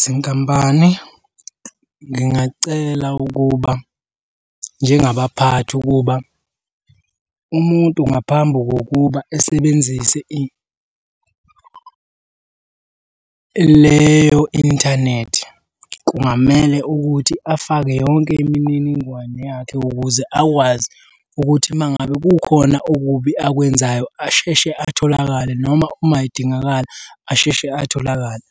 Zinkampani ngingacela ukuba njengabaphathi ukuba umuntu ngaphambi kokuba esebenzise leyo inthanethi kungamele ukuthi afake yonke imininingwane yakhe ukuze akwazi ukuthi uma ngabe kukhona okubi akwenzayo asheshe atholakale noma uma edingakala asheshe atholakale.